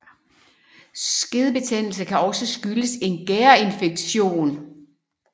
Skedebetændelse kan også skyldes en gærinfektion